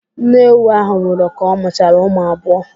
Nne ewu ahụ nwụrụ ka ọ mụchara ụmụ abụọ.